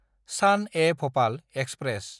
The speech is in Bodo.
सान-ए-भपाल एक्सप्रेस